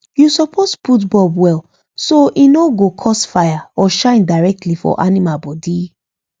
you suppose put bulb well so e no go cause fire or shine directly for animal body